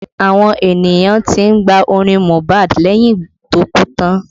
Àwọn ènìyàn tí ń gba orin Mohbad lẹ́yìn tó kú tán